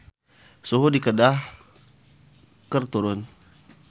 Suhu di Kedah keur turun